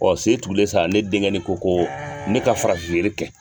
sen tugulen sa ne denkɛnin ko ko ne ka farafin yiri kɛ.